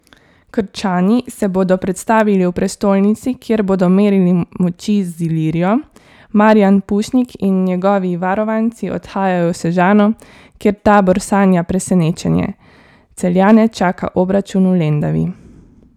Krčani se bodo predstavili v prestolnici, kjer bodo merili moči z Ilirijo, Marijan Pušnik in njegovi varovanci odhajajo v Sežano, kjer Tabor sanja presenečenje, Celjane čaka obračun v Lendavi.